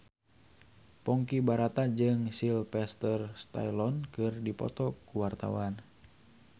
Ponky Brata jeung Sylvester Stallone keur dipoto ku wartawan